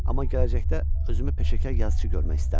Amma gələcəkdə özümü peşəkar yazıçı görmək istərdim.